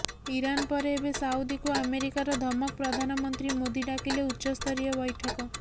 Iran ପରେ ଏବେ ସାଉଦିକୁ ଆମେରିକାର ଧମକ ପ୍ରଧାନମନ୍ତ୍ରୀ ମୋଦୀ ଡାକିଲେ ଉଚ୍ଚସ୍ତରୀୟ ବ୘ଠକ